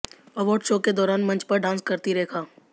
award show के दौरान मंच पर डांस करतीं रेखा